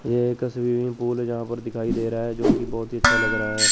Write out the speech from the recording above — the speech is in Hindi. यह एक स्विमिंग पुल जहां पर दिखाई दे रहा है जो की बहोत ही अच्छा लग रहा है।